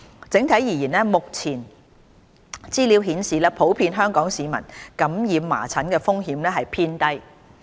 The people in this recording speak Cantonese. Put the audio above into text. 整體而言，目前資料顯示普遍香港市民感染麻疹的風險偏低。